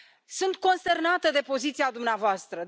Sunt consternată de poziția dumneavoastră.